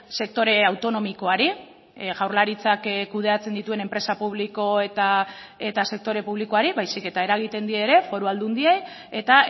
sektore autonomikoari jaurlaritzak kudeatzeen dituen enpresa publiko eta sektore publikoari baizik eta eragiten die ere foru aldundiei eta